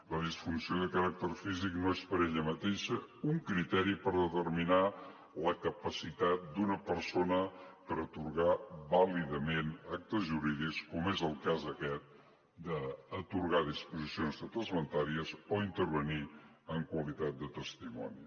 la disfunció de caràcter físic no és per ella mateixa un criteri per determinar la capacitat d’una persona per atorgar vàlidament actes jurídics com és el cas aquest d’atorgar disposicions testamentàries o intervenir en qualitat de testimoni